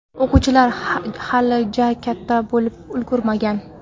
O‘quvchilar hali ja katta bo‘lib ulgurmagan.